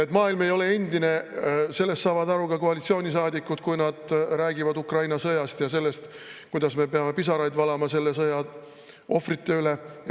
Et maailm ei ole endine, sellest saavad aru ka koalitsioonisaadikud, kui nad räägivad Ukraina sõjast ja sellest, kuidas me peame pisaraid valama selle sõja ohvrite pärast.